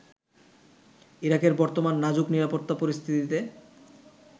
ইরাকের বর্তমান নাজুক নিরাপত্তা পরিস্থিতিতে